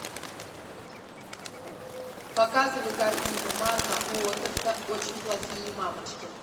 показывай картину марка уотерса очень плохие мамочки